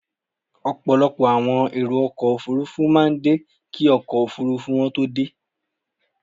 Ọ̀pọ̀lọpọ̀ àwọn èrò ọkọ̀ Òfurufú máa ń dé kí ọkọ̀ Òfurufú wọn tó dé.